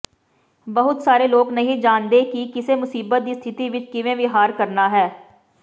ਬਹੁਤ ਸਾਰੇ ਲੋਕ ਨਹੀਂ ਜਾਣਦੇ ਕਿ ਕਿਸੇ ਮੁਸੀਬਤ ਦੀ ਸਥਿਤੀ ਵਿੱਚ ਕਿਵੇਂ ਵਿਹਾਰ ਕਰਨਾ ਹੈ